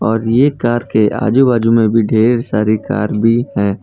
और ये कार के आजू बाजू में भी ढेर सारी कार भी हैं।